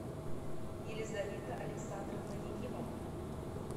елизавета александровна якимова